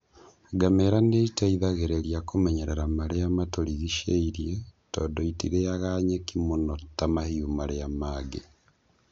Ngamĩra nĩ iteithagĩrĩria kũmenyerera marĩa matũrigicĩirie tondu itirĩaga nyeki mũno ta mahĩũ marĩa mangĩ.